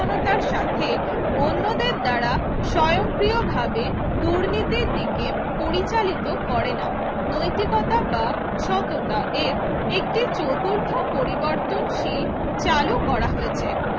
তার সাথে অন্যদের দ্বারা স্বয়ংক্রিয়ভাবে দুর্নীতির দিকে পরিচালিত করে না নৈতিকতা বা সততা এর একটি চতুর্থ একটি পরিবর্তনশীল চালু করা হয়েছে